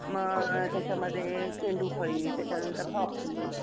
अ त्याच्यामध्ये चेंडू फळी, त्याच्यानंतर हॉकी